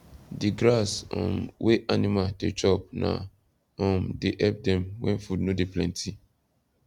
di grass um wey animal dey chop na um dey help dem when food no dey plenty